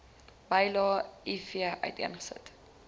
bylae iv uiteengesit